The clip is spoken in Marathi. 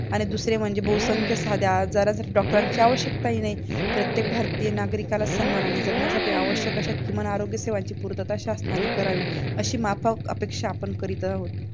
आणि दुसरं म्हणजे बहुसंख्य साध्या आजारांसाठी डॉक्टरांची आवश्यकताही नाही. प्रत्येक भारतीय नागरिकाला सन्मानाने जगण्यासाठी आवश्यक्य अशा किमान आरोग्य सेवांची पूर्तता शासनाने करावी अशी माफक अपेक्षा आपण करीत आहोत